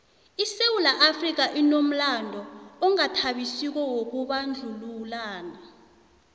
isewula afrika inomlando ongathabisiko wokubandlululana